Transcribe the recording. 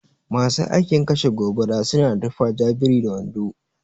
Masu aikin kashe gobara suna da tufa ja biri da wando.